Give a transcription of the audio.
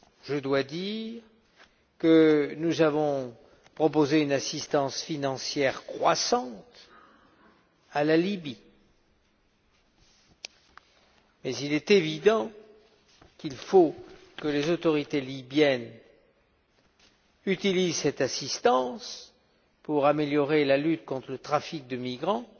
Je dois dire que nous avons proposé une assistance financière croissante à la Libye, mais il est évident qu'il faut que les autorités libyennes utilisent cette assistance pour améliorer la lutte contre le trafic de migrants